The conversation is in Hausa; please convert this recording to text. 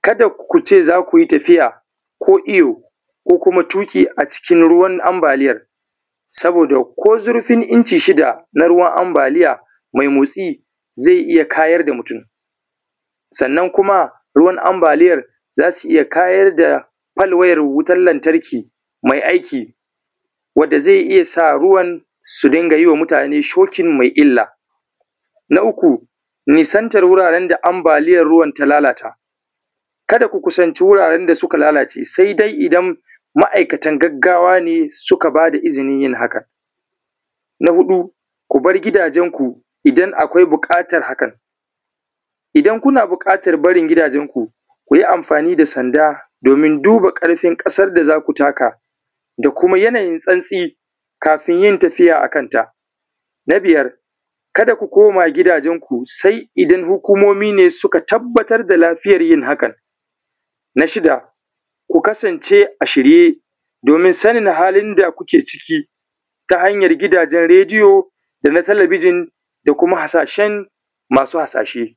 kada ku ce za ku yi tafiya ko iyo ko kuma tuƙi a cikin ruwan ambaliyar, saboda ko zurfin inci shida na ruwan ambaliya mai motsi zai iya kayar da mutum, sannan kuma ruwan ambaliyar, za su iya kayar da falwayar wutar lantarki mai aiki wadda zai iya sa ruwan su dinga yi wa mutane shocking mai illa. Na uku, nisantar wurin da ambaliyar ruwan ta lalata, kada ku kusanci wuraren da suka lalace, sai dai idan ma’aikatan gaggawa ne suka ba da izinin yin hakan. Na huɗu, ku bar gidajenku idan akwai buƙatar hakan, idan kuna buƙatar barin gidajensku, ku yi amfani da sanda domin duba ƙarfin ƙasar da za ku taka da kuma yanayin santsi kafin tafiya a kanta. Na biyar kada ku koma gidajenku, sai idan hukumomi ne suka tabbatar da lafiyar yin hakan. Na shida, ku kasance a shirye, domin sanin halin da kuke ciki, ta hanyar gidajen rediyo da na talabijin da kuma hasashen masu hasashe.